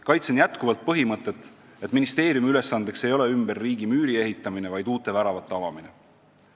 Kaitsen jätkuvalt põhimõtet, et ministeeriumi ülesanne ei ole ümber riigi müüri ehitamine, vaid uute väravate avamine.